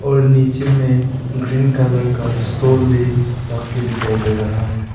और नीचे में ग्रीन कलर का स्टूल भी रख के दिखाई दे रहा है।